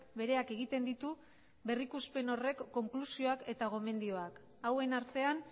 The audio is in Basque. bereak egiten ditu berrikuspen horrek konklusioak eta gomendioak hauen artean